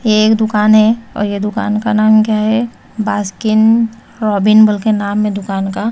ये एक दुकान है और ये दुकान का नाम क्या है बास्किन रॉबिन बोलके नाम है दुकान का।